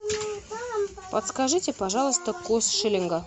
подскажите пожалуйста курс шиллинга